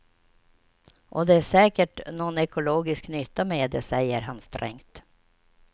Och det är säkert någon ekologisk nytta med det, säger han strängt.